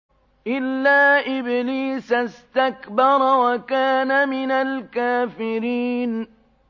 إِلَّا إِبْلِيسَ اسْتَكْبَرَ وَكَانَ مِنَ الْكَافِرِينَ